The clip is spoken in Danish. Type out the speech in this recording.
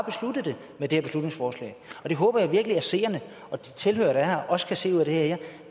med det her beslutningsforslag det håber jeg virkelig at seerne og de tilhørere der er her også kan se ud af det her